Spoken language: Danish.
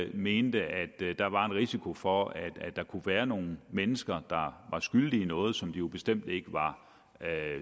mente der var en risiko for at der kunne være nogle mennesker der var skyldige i noget som de jo bestemt ikke var